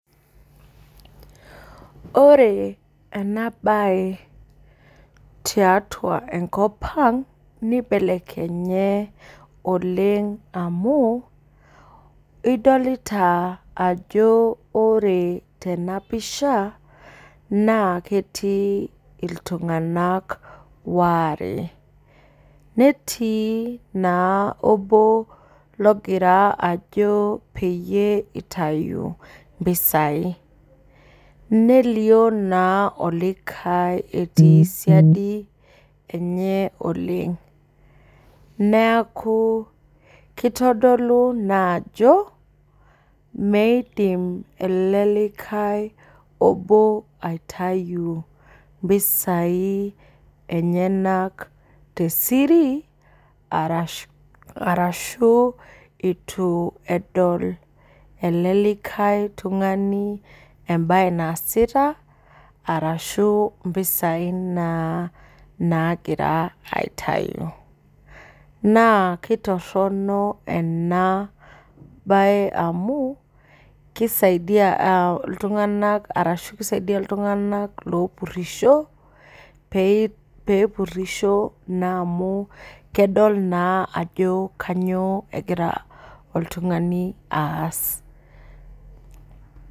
Ore enabae tiatua enkop aang nibelekenye oleng amu idolta ajo ore tenapisha nea ketii ltunganak waare netiibna obo ogira ajo peyie itau mpisai nelio na olikae etii siadi enye oleng neaku kitodolu ajo meidim elelikae obo aitau mpisai enyenak tesiri arashu itu edol elelikae tungani embae naasita arashu mpisai nagira aitau na ketoronok enabae amu kisaidia ltunganak opurisho pepurisho aau kedol ajo kanyio egira oltungani aas.